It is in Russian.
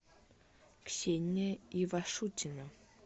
ксения ивашутина